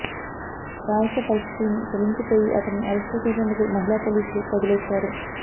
బాలిక పరిస్థితి విని చలించిపోయి అతనిని అరెస్టు చేసేందుకు మహిళా పోలీసులు కదిలొచ్చారు